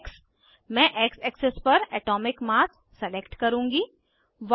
X मैं x axis पर atomic mass select करुँगी